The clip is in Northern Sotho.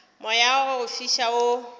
moya wa go fiša wo